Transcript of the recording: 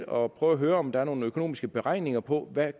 og prøve at høre om der er nogle økonomiske beregninger på hvad